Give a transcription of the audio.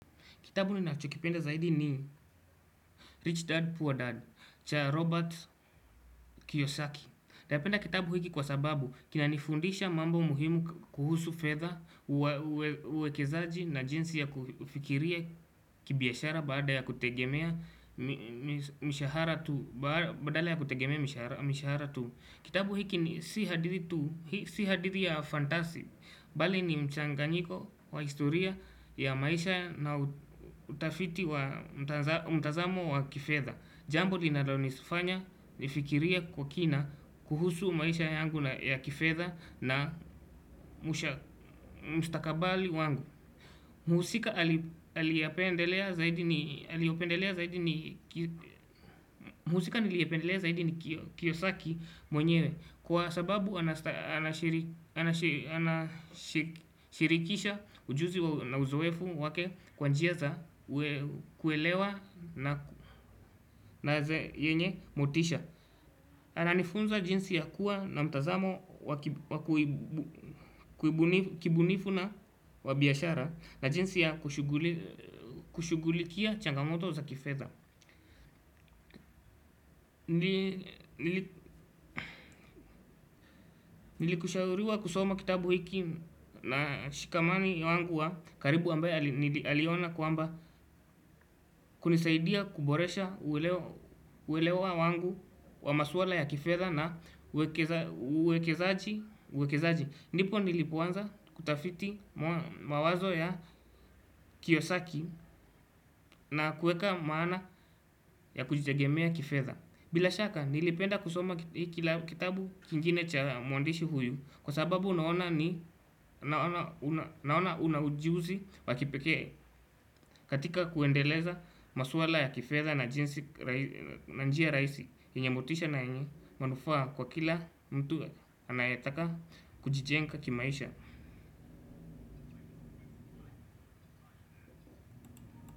Kitabu ninachokipenda zaidi ni Rich Dad poor dad cha robert kiyosaki napenda kitabu hiki kwa sababu kinanifundisha mambo muhimu kuhusu fedha uekezaji na jinsi ya kufikiria kibiashara badala ya kutegemea mshahara tu. Badala ya kutegemea mishara tu. Kitabu hiki ni si hadithi tu. Si hadithi ya fantasy. Bali ni mchangangiko wa historia ya maisha na utafiti wa mtazamo wa kifedha. Jambo linalonifanya nifikirie kwa kina. Kuhusu maisha yangu ya kifedha. Na mstakabali wangu. Mhusika aliyapendelea zaidi ni aliopendelea zaidi ni mhusika niliyependeleza hidi ni kiyosaki mwenyewe kwa sababu anashirikisha ujuzi na uzoefu wake kwa njia za kuelewa na yenye motisha. Ananifunza jinsi ya kuwa na mtazamo wa kibunifu na wa biashara na jinsi ya kushughulikia changamoto za kifedha. Nilikushauriwa kusoma kitabu hiki na shikamani wangu wa karibu ambaye aliona kwamba kunisaidia kuboresha uelewa wangu wa maswala ya kifedha na uekezaji uwekezaji. Ndipo nilipoanza kutafiti mawazo ya kiyosaki na kueka maana ya kujitegemea kifedha. Bila shaka nilipenda kusoma kitabu kingine cha muandishi huyu. Kwa sababu naona ni naona una ujuzi wa kipekee katika kuendeleza maswala ya kifedha na njia rahisi yenye motisha na yenye manufaa kwa kila mtu anayetaka kujijenga kimaisha.